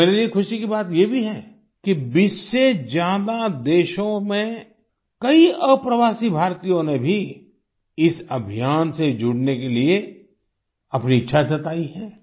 और मेरे लिए खुशी की बात ये भी है कि 20 से ज्यादा देशों में कई अप्रवासी भारतीयों ने भी इस अभियान से जुड़ने के लिए अपनी इच्छा जताई है